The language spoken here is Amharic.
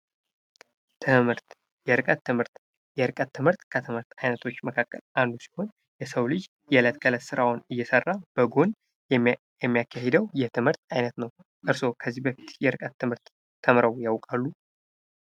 ትምህርት የርቀት ትምህርት የርቀት ትምህርት ከትምህርት አይነቶች አንዱ ሲሆን የሰው ልጅ የዕለት ከዕለት ስራውን እየሰራ በጎን የሚያካሂደው የትምህርት አይነት ነው። እርስዎ ከዚህ በፊት የርቀት ትምህርት ተምረው ያውቃሉ?